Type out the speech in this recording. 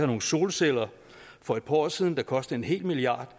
nogle solceller for et par år siden der kostede en hel milliard